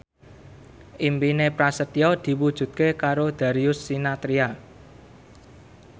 impine Prasetyo diwujudke karo Darius Sinathrya